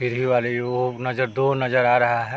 सीढ़ी वाले जो वो अपना डोर नजर आ रहा है ।